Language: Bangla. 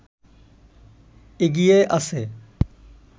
এগিয়ে আছে